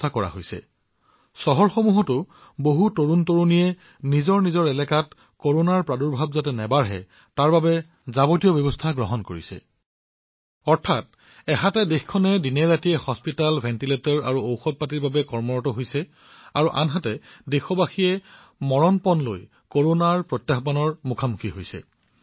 স্থানীয় বাসিন্দাসকলৰ সৈতে কাম কৰি থকা চহৰসমূহতো বহু যুৱকযুৱতীয়ে তেওঁলোকৰ এলেকাত কৰোনাৰ ঘটনা বৃদ্ধি নোহোৱাটো নিশ্চিত কৰিবলৈ আগবাঢ়ি আহিছে অৰ্থাৎ এফালে দেশখনে চিকিৎসালয় ভেণ্টিলেটৰ আৰু ঔষধৰ বাবে দিনৰাতিয়ে কাম কৰি আছে আনফালে দেশবাসীয়েও কৰোনাৰ মোকাবিলা কৰি আছে